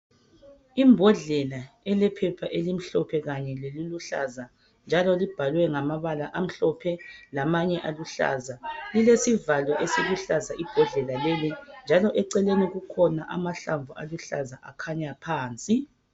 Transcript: Imbodlela elephepha elimhlophe kanye leliluhlaza njalo libhalwe ngamabala amhlophe lamanye aluhlaza. Lilesivalo esiluhlaza ibhodlela leli njalo eceleni kukhona amahlamvu aluhlaza akhanya phansi.